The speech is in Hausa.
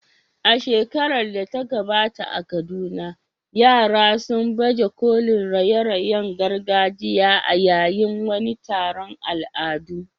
A shekarar da ta gabata a Kaduna, yara sun baje kolin raye-rayen gargajiya a yayin wani taron al'adu.